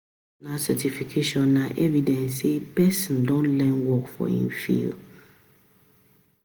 Professional certification na evidence sey person don learn work for im field